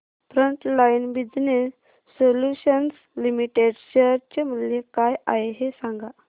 frontline business solutions limited share चे मूल्य काय आहे हे सांगा